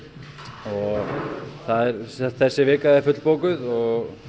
og þessi vika er fullbókuð og